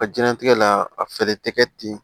Ka diɲɛlatigɛ la a fɛɛrɛ tɛ kɛ ten